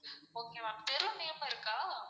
okay ma'am தெரு name இருக்கா?